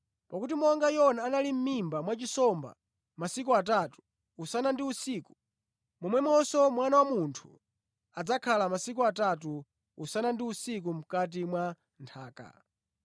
Pakuti monga Yona anali mʼmimba mwa nsomba yayikulu masiku atatu, usana ndi usiku, momwemonso Mwana wa Munthu adzakhala masiku atatu, usana ndi usiku, mʼkati mwa nthaka.